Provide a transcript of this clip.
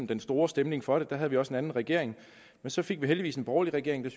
den store stemning for det der havde vi også en anden regering men så fik vi heldigvis en borgerlig regering der